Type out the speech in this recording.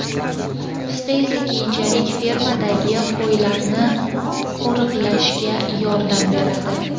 Pista esa keyinchalik fermadagi qo‘ylarni qo‘riqlashga yordam beradi.